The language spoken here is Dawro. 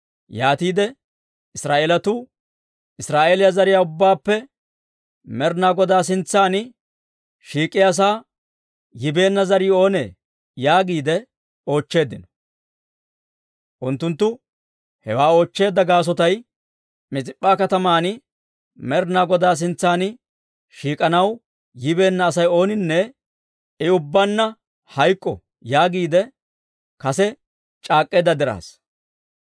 Yaatiide Israa'eelatuu, «Israa'eeliyaa zariyaa ubbaappe Med'inaa Godaa sintsan shiik'iyaasaa yibeenna zarii oonee?» yaagiide oochcheeddino. Unttunttu hewaa oochcheedda gaasotay, Mis'ip'p'a kataman Med'inaa Godaa sintsan shiik'anaw yibeenna Asay ooninne, «I ubbaanna hayk'k'o» yaagiide kase c'aak'k'eedda dirassa.